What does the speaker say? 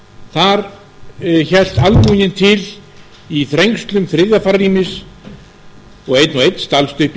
sáluga þar hélt almúginn til í þrengslum þriðja farrýmis og einn og einn stalst upp í